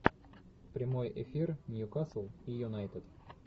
прямой эфир ньюкасл и юнайтед